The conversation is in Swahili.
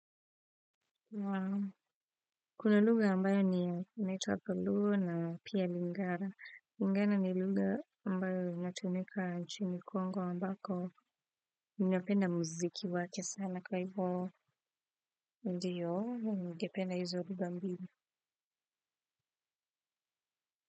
Wao kuna luga ambayo ni unaitwapaluo na pia lingara ingara ni luga ambayo natumika nchini Congo ambako ninapenda muziki wake sana kwa hivyo ndiyo ningependa hizuru bambina.